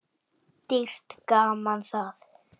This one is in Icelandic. Dýrt gaman það.